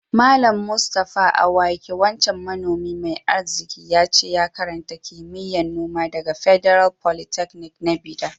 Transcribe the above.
Mallam Mustapha awake wancan manomi mai arziki, yace ya karanta kimiyya'n noma daga Federal Polytechnic na Bida.